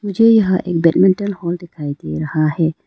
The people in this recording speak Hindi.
मुझे यहां एक बैडमिंटन हॉल दिखाई दे रहा है।